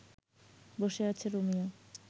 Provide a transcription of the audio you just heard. বসে আছে রোমিও